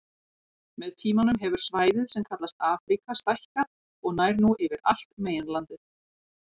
Með tímanum hefur svæðið sem kallast Afríka stækkað og nær nú yfir allt meginlandið.